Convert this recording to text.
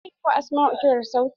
Zan yi wa asmau kirar sauti.